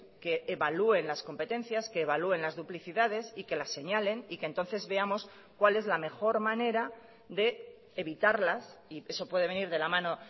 que evalúen las competencias que evalúen las duplicidades y que las señalen y que entonces veamos cuál es la mejor manera de evitarlas y eso puede venir de la mano